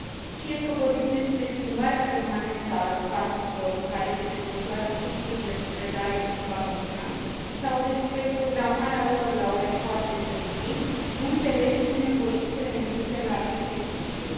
Fie că vorbim despre schimbarea permanentă a locațiilor în care se desfășoară cursurile cu predare în limba română sau despre programarea lor la ore foarte târzii, mulți elevi sunt nevoiți să renunțe la aceste cursuri.